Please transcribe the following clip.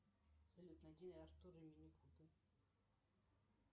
салют найди артур и минипуты